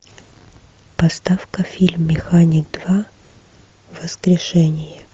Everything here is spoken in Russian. поставь ка фильм механик два воскрешение